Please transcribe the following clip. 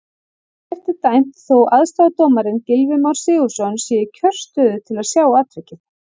Ekkert er dæmt þó aðstoðardómarinn Gylfi Már Sigurðsson sé í kjörstöðu til að sjá atvikið.